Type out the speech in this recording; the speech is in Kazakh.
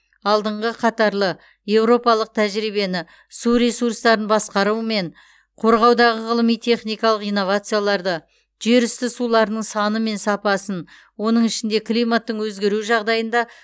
алдыңғы қатарлы еуропалық тәжірибені су ресурстарын басқару мен қорғаудағы ғылыми техникалық инновацияларды жерүсті суларының саны мен сапасын оның ішінде климаттың өзгеруі жағдайында